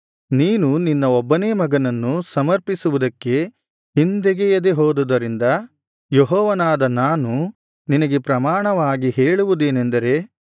ನೀನು ನಿನ್ನ ಒಬ್ಬನೇ ಮಗನನ್ನು ಸಮರ್ಪಿಸುವುದಕ್ಕೆ ಹಿಂದೆಗೆಯದೆ ಹೋದುದರಿಂದ ಯೆಹೋವನಾದ ನಾನು ನಿನಗೆ ಪ್ರಮಾಣವಾಗಿ ಹೇಳುವುದೇನಂದರೆ